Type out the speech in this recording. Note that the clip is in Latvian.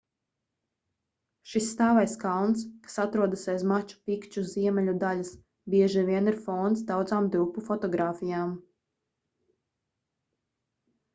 šis stāvais kalns kas atrodas aiz maču pikču ziemeļu daļas bieži vien ir fons daudzām drupu fotogrāfijām